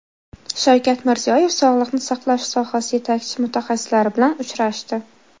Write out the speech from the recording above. Shavkat Mirziyoyev sog‘liqni saqlash sohasi yetakchi mutaxassislari bilan uchrashdi .